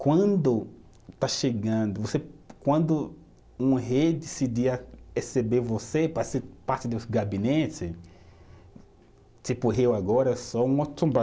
Quando está chegando você, quando um rei decidir a receber você para ser parte do gabinete, tipo, eu agora sou um Otumbá.